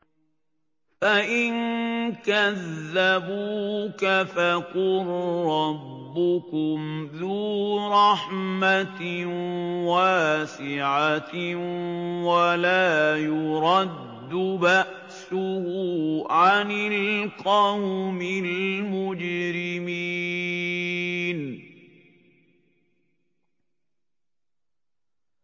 فَإِن كَذَّبُوكَ فَقُل رَّبُّكُمْ ذُو رَحْمَةٍ وَاسِعَةٍ وَلَا يُرَدُّ بَأْسُهُ عَنِ الْقَوْمِ الْمُجْرِمِينَ